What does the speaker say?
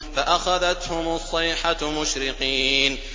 فَأَخَذَتْهُمُ الصَّيْحَةُ مُشْرِقِينَ